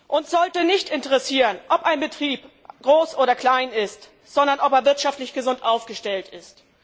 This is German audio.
Uns sollte nicht interessieren, ob ein Betrieb groß oder klein ist, sondern ob er wirtschaftlich gesund aufgestellt ist.